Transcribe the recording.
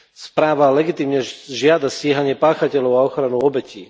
Správa legitímne žiada stíhanie páchateľov a ochranu obetí.